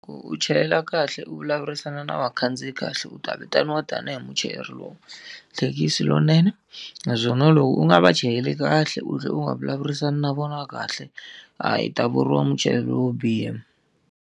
Loko u chayela kahle u vulavurisana na vakhandziyi kahle u ta vitaniwa tanihi muchayeri thekisi lowunene, naswona loko u nga va chayeli kahle u tlhela u nga vulavurisani na vona kahle, hayi u ta vuriwa muchayeri wo biha.